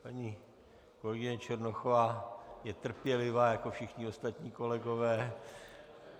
Paní kolegyně Černochová je trpělivá jako všichni ostatní kolegové.